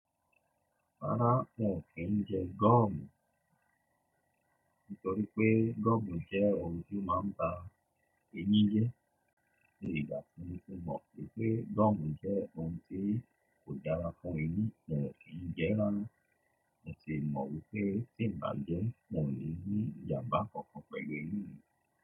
Rárá, n ò kí n jẹ gọ́ọ̀mù nítorí pé gọ́ọ̀mù jẹ́ ohun tí ó máa ń ba ẹyin jẹ́. Ní ìgbà tí mo ti mọ̀ pé gọ́ọ̀mù jẹ́ ohun tí kò dára fún ẹyin, n ò kí n jẹ ẹ́ rárá mọ́. Mo sì mọ̀ wípé tí n bá jẹ́, n ó n ní ìjàmbá kankan pẹ̀lú eyin mi.